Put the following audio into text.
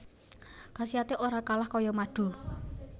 Khasiaté ora kalah kaya madu